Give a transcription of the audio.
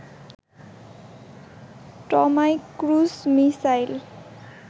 Tomahawk cruise missile